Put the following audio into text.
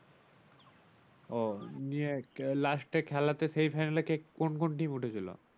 ও নিয়েও last এ খেলাতে semi final কে কোন কোন team উঠে ছিল?